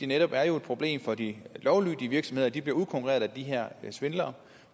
netop er et problem for de lovlydige virksomheder at de bliver udkonkurreret af de her svindlere